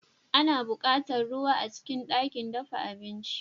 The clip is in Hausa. Ana buƙatar ruwa a cikin ɗakin dafa abinci.